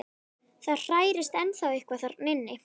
Það hrærist ennþá eitthvað þarna inni.